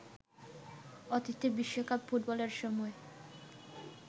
অতীতে বিশ্বকাপ ফুটবলের সময়